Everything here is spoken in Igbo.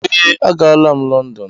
Ee, aga la'm London.